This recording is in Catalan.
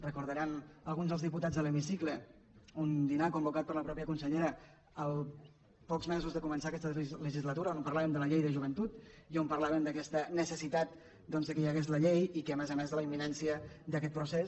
recordaran alguns dels diputats de l’hemicicle un dinar convocat per la mateixa consellera pocs mesos després de començar aquesta legislatura on parlàvem de la llei de joventut i on parlàvem d’aquesta necessitat que hi hagués la llei i a més a més de la imminència d’aquest procés